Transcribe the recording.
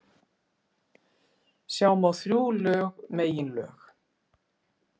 Sjá má þrjú lög meginlög.